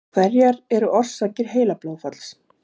Hverjar eru orsakir heilablóðfalls?